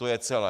To je celé.